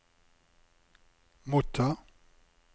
motta